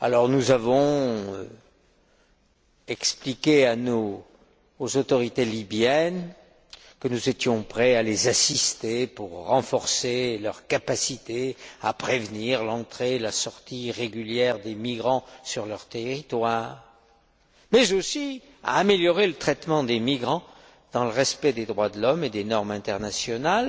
Nous avons expliqué aux autorités libyennes que nous étions prêts à les assister pour renforcer leurs capacités à prévenir l'entrée et la sortie irrégulières des migrants sur leur territoire, mais aussi à améliorer le traitement des migrants dans le respect des droits de l'homme et des normes internationales